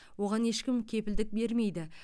оған ешкім кепілдік бермейді